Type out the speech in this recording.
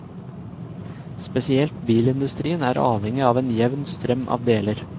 Spesielt bilindustrien er avhengig av en jevn strøm av deler.